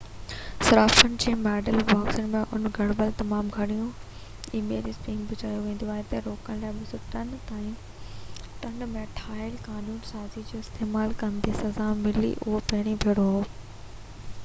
صارفن جي ميل باڪسن ۾ اڻ گهربل تمام گهڻيون اي ميل اسپيم بہ چيو ويندو آهي کي روڪڻ لاءِ 2003 ۾ ٺاهيل قانون سازي جو استعمال ڪندي سزا ملي اهو پهريون ڀيرو هو